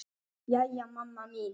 Jæja mamma mín.